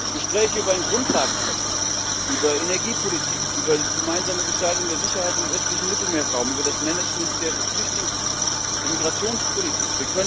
Gespräche über einen Grundlagenvertrag, über Energiepolitik, über die gemeinsame Gestaltung der Sicherheit im östlichen Mittelmeerraum, über das Managment der Migrationspolitik.